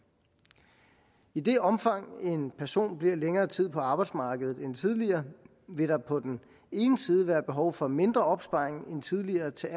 i det omfang en person bliver længere tid på arbejdsmarkedet end tidligere vil der på den ene side være behov for mindre opsparing end tidligere til